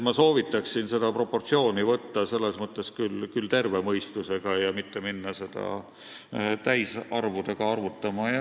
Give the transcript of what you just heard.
Ma soovitaksin seda proportsiooni võtta selles mõttes küll terve mõistusega ja mitte minna seda täisarvudega arvutama.